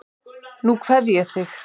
Nú kveð ég þig.